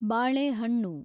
ಬಾಳೆಹಣ್ಣು